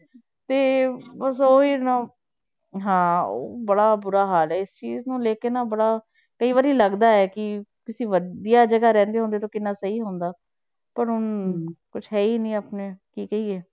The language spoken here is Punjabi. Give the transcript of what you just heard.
ਤੇ ਬਸ ਉਹ ਹੀ ਨਾ ਹਾਂ ਬੜਾ ਬੁਰਾ ਹਾਲ ਹੈ ਇਸ ਚੀਜ਼ ਨੂੰ ਲੈ ਕੇ ਨਾ ਬੜਾ ਕਈ ਵਾਰੀ ਲੱਗਦਾ ਹੈ ਕਿ ਤੁਸੀਂ ਵਧੀਆ ਜਗ੍ਹਾ ਰਹਿੰਦੇ ਹੁੰਦੇ ਤਾਂ ਕਿੰਨਾ ਸਹੀ ਹੁੰਦਾ, ਪਰ ਊਂ ਕੁਛ ਹੈ ਹੀ ਨੀ ਆਪਣੇ ਕੀ ਕਹੀਏ।